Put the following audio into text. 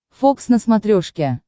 фокс на смотрешке